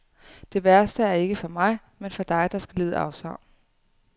Det værste er ikke for mig, men for dig, der skal lide afsavn.